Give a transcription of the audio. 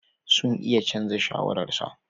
Sun iya canza shawararsa.